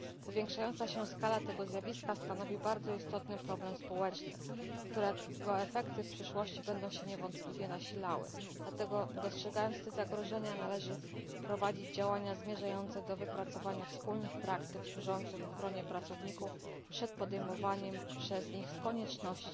Powiększająca się skala tego zjawiska stanowi bardzo istotny problem społeczny, którego efekty będą się w przyszłości nasilały, dlatego dostrzegając te zagrożenia należy prowadzić działania zmierzające do wypracowania wspólnych praktyk służących ochronie pracowników przed podejmowaniem przez nich z konieczności